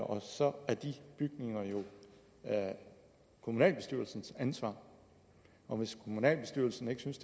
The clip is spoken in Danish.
og så er de bygninger jo kommunalbestyrelsens ansvar og hvis kommunalbestyrelsen ikke synes